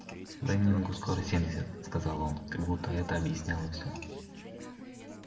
лэннингу скоро семьдесят сказал он как будто это объясняло всё